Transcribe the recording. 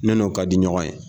N'o ka di ɲɔgɔn ye.